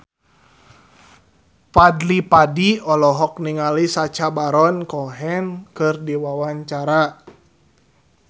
Fadly Padi olohok ningali Sacha Baron Cohen keur diwawancara